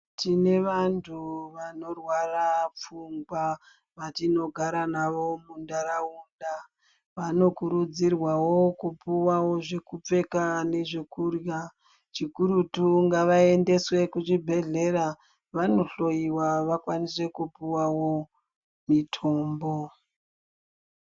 Tine vantu vanorwara pfungwa vatinogara navo muntaraunda vano kuridzirwawo kupiwawo zvekupfeka nezvekurya chikurutu ngavaende kuchibhedhlera kuti vanohloyiwa vawane kupiwa mutombo.